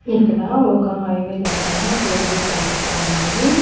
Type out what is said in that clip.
ఇక్కడ ఒక highway దగ్గర టోల్ గేట్ కనిపిస్తా ఉంది.